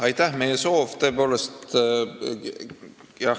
Aitäh!